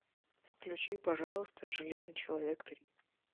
включи пожалуйста железный человек три